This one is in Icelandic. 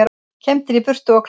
Kembdir í burtu og kláraðir